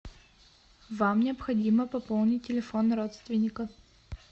вам необходимо пополнить телефон родственника